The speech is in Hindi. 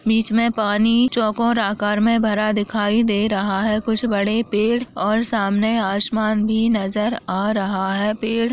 बीच में पानी चौकोर आकार में भरा दिखाई दे रहा है कुछ बड़े पेड़ और सामने आसमान भी नजर आ रहा है। पेड़ --